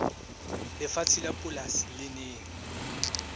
lefatshe la polasi le nang